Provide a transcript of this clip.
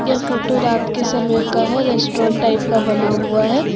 यह फोटो रात के समय का है रेस्टोरेंट टाइप का बना हुआ है।